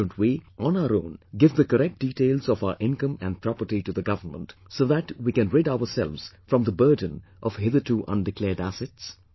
Why don't we, on our own, give the correct details of our income and property to the government, so that we can rid ourselves from the burden of hitherto undeclared assets